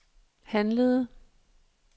handlede